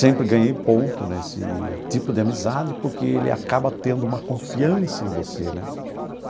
Sempre ganhei ponto nesse tipo de amizade porque ele acaba tendo uma confiança em você, né?